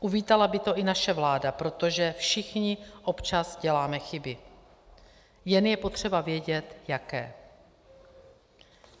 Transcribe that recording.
Uvítala by to i naše vláda, protože všichni občas děláme chyby, jen je potřeba vědět jaké.